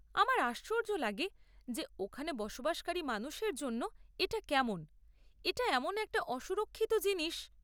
আমার আশ্চর্য লাগে যে ওখানে বসবাসকারী মানুষের জন্য এটা কেমন, এটা এমন একটি অসুরক্ষিত জিনিস!